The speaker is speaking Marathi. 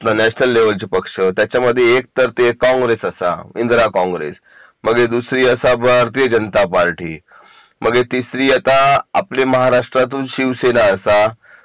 नॅशनल लेव्हलचे पक्ष त्याच्यामध्ये एक तर ते काँग्रेस असा इंदिरा काँग्रेस मगे दुसरी असा भारतीय जनता पार्टी मग हे तिसरी आता आपली महाराष्ट्रातून शिवसेना असा